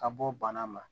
Ka bɔ bana ma